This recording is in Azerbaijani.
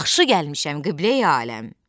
Yaxşı gəlmişəm, qibləyi aləm.